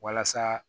Walasa